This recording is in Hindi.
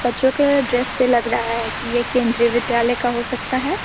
बच्चो के ड्रेस से लग रहा है कि ये केंद्रीय विद्यालय का हो सकता है।